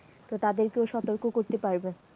তো তাদেরকেও সতর্ক করতে পারবে।